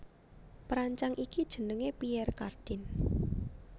Perancang iki jenengé Pierre Cardin